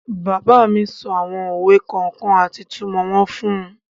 Bàbá mi sọ àwọn òwe kọ̀ọ̀kan àti ìtumọ̀ wọn fún un.